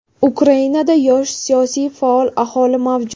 Ukrainada yosh, siyosiy faol aholi mavjud.